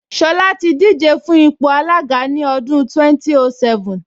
Ṣọlá ti díje fún ipò alága ní ọdún 2007